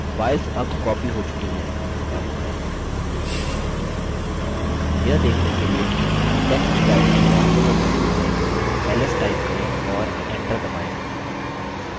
files अब copied हो चुकी है यह देखने के लिए कि टेक्स्ट directory वास्तव में मौजूद है ls type करें और enter दबायें